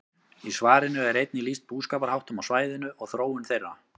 Í svarinu er einnig lýst búskaparháttum á svæðinu og þróun þeirra.